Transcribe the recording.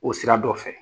O sira dɔ fɛ